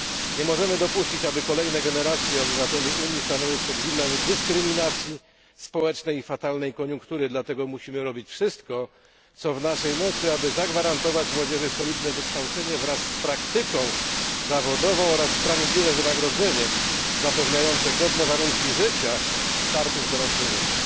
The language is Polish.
Nie możemy dopuścić, aby kolejne generacje obywateli Unii stanęły przed widmem dyskryminacji społecznej i fatalnej koniunktury, dlatego musimy robić wszystko, co w naszej mocy, aby zagwarantować młodzieży solidne wykształcenie wraz z praktyką zawodową oraz sprawiedliwe wynagrodzenie, zapewniające godne warunki życia i startu w dorosłe życie.